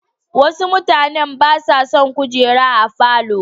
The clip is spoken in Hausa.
Wasu mutanen ba sa son kujeru a falo.